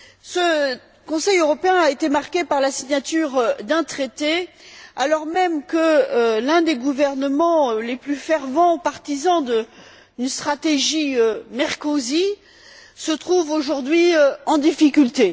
Ce Conseil européen a été marqué par la signature d'un traité alors que même l'un des gouvernements les plus fervents partisans d'une stratégie Merkozy se trouve aujourd'hui en difficulté.